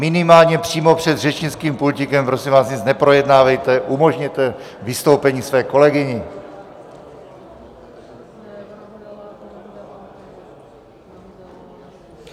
Minimálně přímo před řečnickým pultíkem, prosím vás, nic neprojednávejte, umožněte vystoupení své kolegyni.